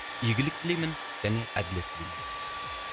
игілік тілеймін және әділет тілеймін